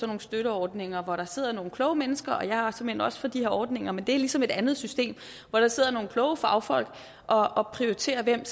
nogle støtteordninger hvor der sidder nogle kloge mennesker jeg er såmænd også for de her ordninger men det er ligesom et andet system hvor der sidder nogle kloge fagfolk og og prioriterer hvem